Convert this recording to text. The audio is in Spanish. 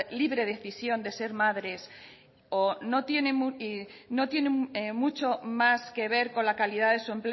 libre decisión de ser madres tiene mucho más que ver con la calidad de su